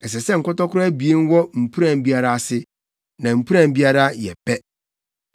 Ɛsɛ sɛ nkɔtɔkoro abien wɔ mpuran biara ase, na mpuran biara yɛ pɛ.